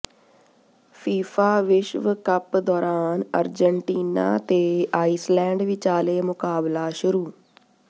FIFA ਵਿਸ਼ਵ cup ਦੌਰਾਨ Argentina ਤੇ ਆਈਸਲੈਂਡ ਵਿਚਾਲੇ ਮੁਕਾਬਲਾ ਸ਼ੁਰੂ